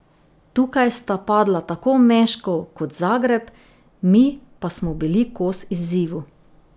Tukaj sta padla tako Meškov kot Zagreb, mi pa smo bili kos izzivu.